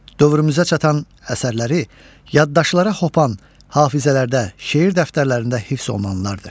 Dövrümüzə çatan əsərləri yaddaşlara hopan, hafizələrdə, şeir dəftərlərində hifz olunanlardır.